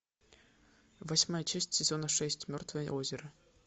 восьмая часть сезона шесть мертвое озеро